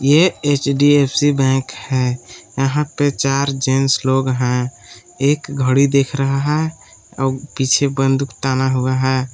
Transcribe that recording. ये एच_डी_एफ_सी बैंक है यहां पर चार जेंट्स लोग हैं एक घड़ी देख रहा है और पीछे बंदूक ताना हुआ है।